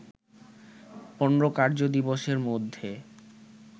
১৫ কার্য দিবসের মধ্যে